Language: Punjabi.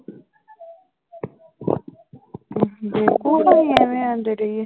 ਬੇਵਕੂਫ਼ ਹੈ ਅਸੀਂ ਐਵੇਂ ਆਉਂਦੇ ਰਹੀਏ।